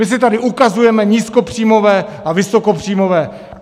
My si tady ukazujeme nízkopříjmové a vysokopříjmové.